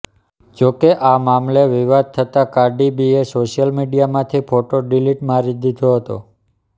જો કે આ મામલે વિવાદ થતાં કાર્ડી બીએ સોશિયલ મીડિયામાંથી ફોટો ડિલિટ મારી દીધો હતો